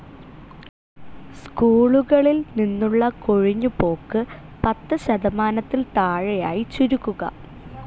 സ്കൂളികളിൽ നിന്നുള്ള കൊഴിഞ്ഞ് പോക്ക് പത്ത് ശതമാനത്തിൽ താഴെയായി ചുരുക്കുക.